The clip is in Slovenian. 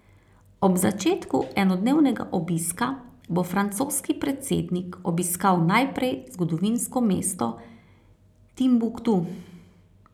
Ob začetku enodnevnega obiska bo francoski predsednik obiskal najprej zgodovinsko mesto Timbuktu.